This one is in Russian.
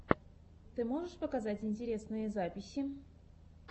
ты можешь показать интересные записи